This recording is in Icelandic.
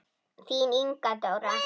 Þín Inga Dóra.